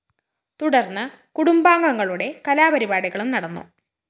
തുടര്‍ന്ന് കുടുംബാംഗങ്ങളുടെ കലാപരിപാടികളും നടന്നു